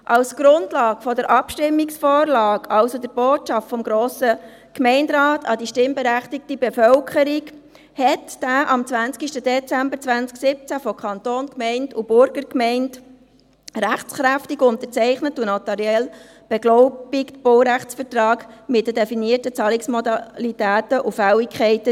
Als Grundlage der Abstimmungsvorlage, also der Botschaft des Grossen Gemeinderates an die stimmberechtigte Bevölkerung, diente dem am 20. Dezember 2017 von Kanton, Gemeinde und Burgergemeinde rechtskräftig unterzeichneten und notariell beglaubigten Baurechtsvertrag mit den definierten Zahlungsmodalitäten und Fälligkeiten.